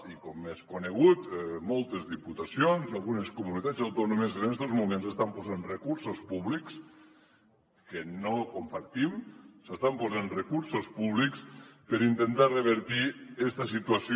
i com és conegut moltes diputacions i algunes comunitats autònomes en estos moments estan posant recursos públics cosa que no compartim s’estan posant recursos públics per intentar revertir esta situació